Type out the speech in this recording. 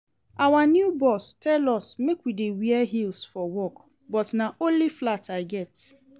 Our new boss tell us make we dey wear heels for work but na only flat I get